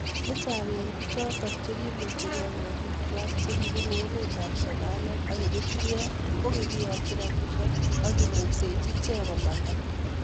Chechang eng pichotok chekimuchii gei korikwaak chekibunuu emeet ab somoliek ak ertriek kokikiyakyi rapisiek ako kimuisechii ichek komandaa